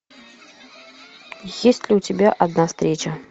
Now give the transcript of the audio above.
есть ли у тебя одна встреча